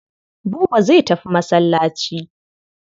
Buba zai tafi masallaci.